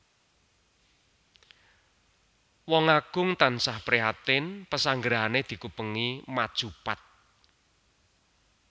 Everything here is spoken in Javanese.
Wong Agung tansah prihatin pasanggrahané dikupengi maju pat